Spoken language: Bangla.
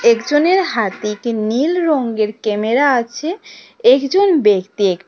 একজনের হাতে একটি নীল রঙের ক্যামেরা আছে একজন ব্যক্তি এক--